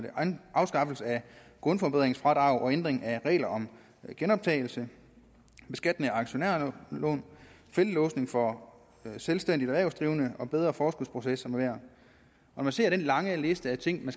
afskaffelse af grundforbedringsfradrag og ændring af regler om genoptagelse beskatning af aktionærlån feltlåsning for selvstændige erhvervsdrivende og bedre forskudsproces med mere når man ser den lange liste af ting der